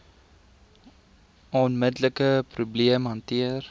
onmiddelike probleem hanteer